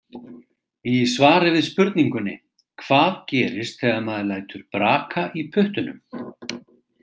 Í svari við spurningunni Hvað gerist þegar maður lætur braka í puttunum?